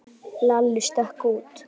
Lalli stökk út.